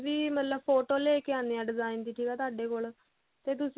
ਕੋਈ ਵੀ ਮਤਲਬ ਫੋਟੋ ਲੈ ਕੇ ਆਉਂਦੇ ਆ design ਦੀ ਠੀਕ ਹੈ ਤੁਹਾਡੇ ਕੋਲ ਤੇ ਤੁਸੀਂ ਉਹ